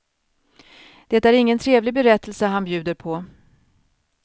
Det är ingen trevlig berättelse han bjuder på.